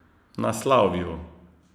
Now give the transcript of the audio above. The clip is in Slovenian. Na slavju.